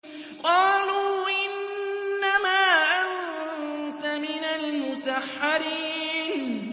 قَالُوا إِنَّمَا أَنتَ مِنَ الْمُسَحَّرِينَ